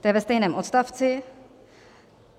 To je ve stejném odstavci.